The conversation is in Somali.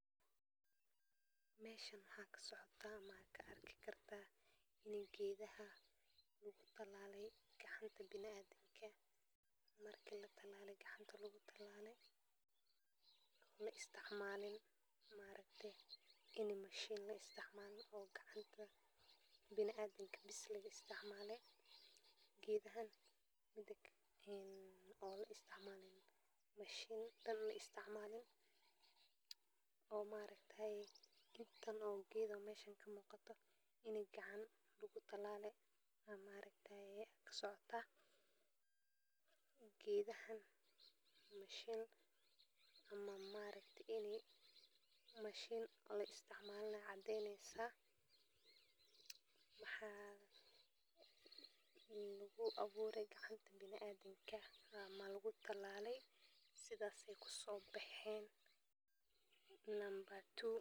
Meesha waxa ka socdaa ama aa ka arki kartaa milkiilaha, waxaana masagadu leh faa'iidooyin caafimaad oo badan sida inay korodhisa xoogga, ay ka hortago cudurrada sonkorta, ay nadiifiso caloosha, ayna yareeyo cillada dhiigga, waxaana masagadu noqon kartaa cunto aad u macaan marka la isku daro digir, saliid, iyo xawaajir, waxaana lagu karri karaa dhowr qaab oo kala duwan sida shiil, qalayl, iyo dubis, waxaana masagadu ka mid tahay alaabta ugu muhiimsan ee ganacsiga qaaradda Afrika.